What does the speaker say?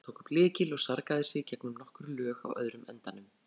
Valdimar tók upp lykil og sargaði sig gegnum nokkur lög á öðrum endanum.